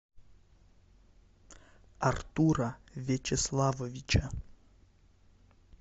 артура вячеславовича